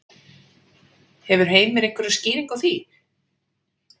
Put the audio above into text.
Hefur Heimir einhverja skýringu á því?